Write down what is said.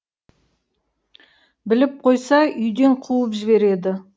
біліп қойса үйден қуып жібереді